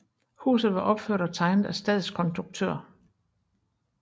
Huset var opført og tegnet af stadskonduktør J